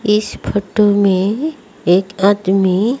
इस फोटो में एक आदमी--